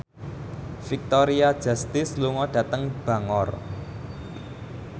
Victoria Justice lunga dhateng Bangor